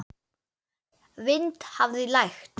Vind hafði lægt.